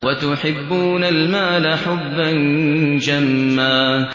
وَتُحِبُّونَ الْمَالَ حُبًّا جَمًّا